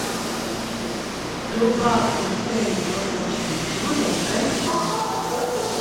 добавь коктейль молочный чудо в корзину